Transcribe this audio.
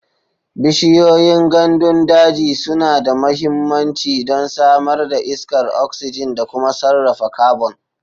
Bishiyoyin gandun daji suna da mahimmanci don samar da iskar oxygen da kuma sarrafa carbon.